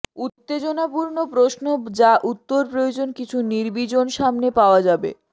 উত্তেজনাপূর্ণ প্রশ্ন যা উত্তর প্রয়োজন কিছু নির্বীজন সামনে পাওয়া যাবে